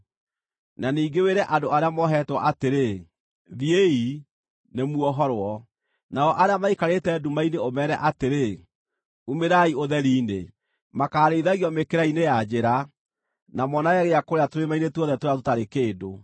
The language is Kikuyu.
na ningĩ wĩre andũ arĩa mohetwo atĩrĩ, ‘Thiĩi, nĩmuohorwo,’ nao arĩa maikarĩte nduma-inĩ ũmeere atĩrĩ, ‘Umĩrai ũtheri-inĩ!’ “Makaarĩithagio mĩkĩra-inĩ ya njĩra, na moonage gĩa kũrĩa tũrĩma-inĩ tuothe tũrĩa tũtarĩ kĩndũ.